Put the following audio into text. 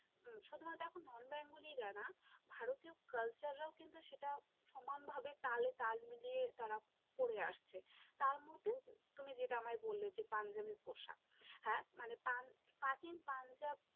হম শুধুমাত্র দেখো Non-bengali রা না, ভারতীয় Culture রাও কিন্তু সেটা সমানভাবে তালে তাল মিলিয়ে তারা পরে আসছে, তার মধ্যে তুমি যেটা আমায় বললে যে পাঞ্জাবের পোশাক, হ্যাঁ মানে প্রাচীন পাঞ্জাবি